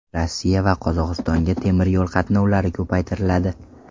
Rossiya va Qozog‘istonga temiryo‘l qatnovlari ko‘paytiriladi .